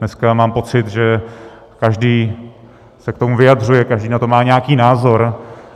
Dneska mám pocit, že každý se k tomu vyjadřuje, každý na to má nějaký názor.